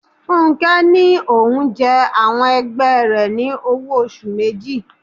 Fúnké ní òun jẹ àwọn ẹgbẹ́ rẹ ní owó oṣù méjì.